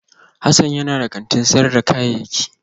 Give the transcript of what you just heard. Hassan yana da kantin sayar da kayayyaki